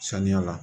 Saniya la